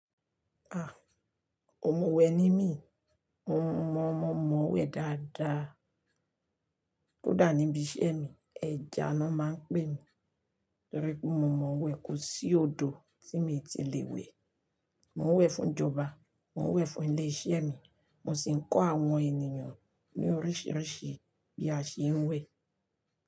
Ah, òun ò mọ̀ wẹ̀ ni mí, mo mọ, mo mọ̀ wẹ̀ dáadáa. Kódà níbi iṣẹ́ mi, ẹja ni wọ́n máa ń pè mi torí pé mo mọ̀ wẹ̀ kù sí odò tí mo ti lè wẹ̀. Mo ń wẹ̀ fún ìjọba, mo ń wẹ̀ fún ilé iṣẹ́ mi, mo sì ń kọ́ àwọn ènìyàn ní oríṣìíríṣìí bí a ṣe ń wẹ̀.